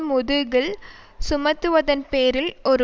முதுகில் சுமத்துவதன் பேரில் ஒரு